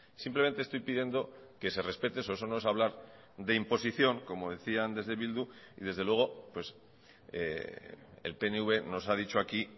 simplemente estoy pidiendo que se respete eso eso no es hablar de imposición como decían desde bildu y desde luego el pnv nos ha dicho aquí